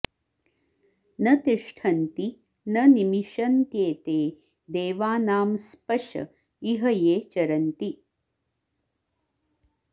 न तिष्ठन्ति न नि मिषन्त्येते देवानां स्पश इह ये चरन्ति